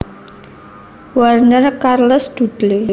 Warner Charles Dudley